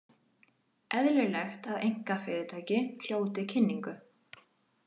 Eðlilegt að einkafyrirtæki hljóti kynningu